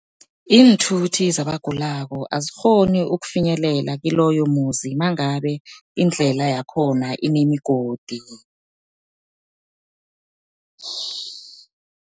Iinthuthi zabagulako azikghoni ukufinyelela kiloyo muzi, mangabe indlela yakhona inemigodi.